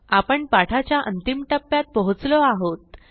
आपण पाठाच्या अंतिम टप्प्यात पोहोचलो आहोत